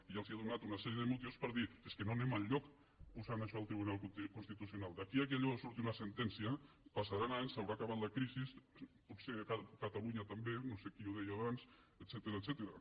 i ja els he donat una sèrie de motius per dir és que no anem enlloc posant això al tribunal constitucional d’aquí que allò surti una sentència passaran anys s’haurà acabat la crisi potser catalunya també no sé qui ho deia abans etcètera